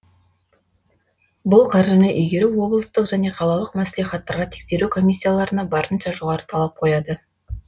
бұл қаржыны игеру облыстық және қалалық мәслихаттарға тексеру комиссияларына барынша жоғары талап қояды